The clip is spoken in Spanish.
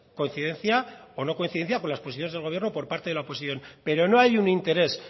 coincidencia o no coincidencia por las posiciones del gobierno por parte de la oposición pero no hay un interés